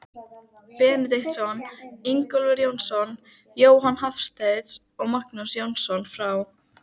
Benediktsson, Ingólfur Jónsson, Jóhann Hafstein og Magnús Jónsson frá